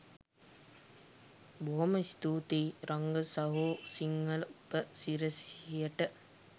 බොහොම ස්තූතියි රංග සහෝ සිංහල උපසිරැසියට.